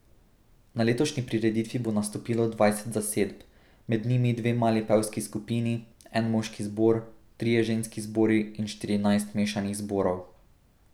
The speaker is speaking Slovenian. Na letošnji prireditvi bo nastopilo dvajset zasedb, med njimi dve mali pevski skupini, en moški zbor, trije ženski zbori in štirinajst mešanih zborov.